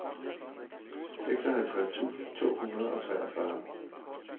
seksoghalvtreds tusind to hundrede og treogfyrre